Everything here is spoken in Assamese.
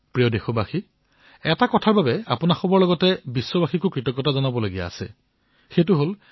মোৰ মৰমৰ দেশবাসীসকল মই আৰু এটা কথাৰ বাবে আপোনালোক সকলোকে ধন্যবাদ জ্ঞাপন কৰিব বিচাৰিছো আৰু বিশ্বৰ সকলোকে ধন্যবাদ জ্ঞাপন কৰিব বিচাৰিছো